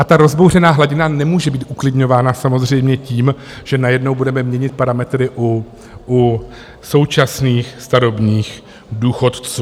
A ta rozbouřená hladina nemůže být uklidňována samozřejmě tím, že najednou budeme měnit parametry u současných starobních důchodců.